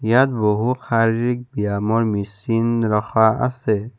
ইয়াত বহু শাৰীৰিক ব্যয়ামৰ মেচিন ৰখোৱা আছে।